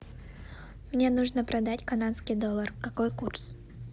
мне нужно продать канадский доллар какой курс